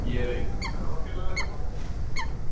Ég er að eignast ferðafélaga hérna.